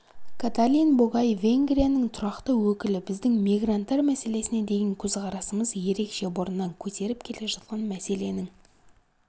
каталин богай венгрияның тұрақты өкілі біздің мигранттар мәселесіне деген көзқарасымыз ерекше бұрыннан көтеріп келе жатқан мәселенің